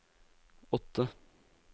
åtte